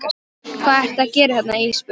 Hvað ertu að gera hérna Ísbjörg?